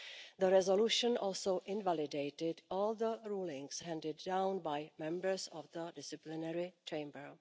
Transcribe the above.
The resolution also invalidated all the rulings handed down by members of the disciplinary chamber.